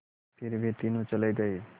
फिर वे तीनों चले गए